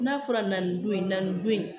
N'a fɔra na nin don in na nin don in